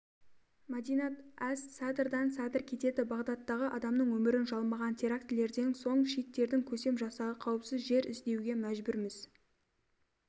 мадинат-әс-садрдан садр кетеді бағдаттағы адамның өмірін жалмаған терактілерден соң шииттердің көсем жасағы қауіпсіз жер іздеуге мәжбүрміз